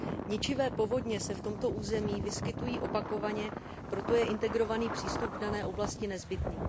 Ničivé povodně se v tomto území vyskytují opakovaně, proto je integrovaný přístup v dané oblasti nezbytný.